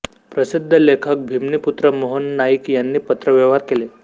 प्रसिद्ध लेखक भिमणीपूत्र मोहन नाईक यांनी पत्रव्यवहार केले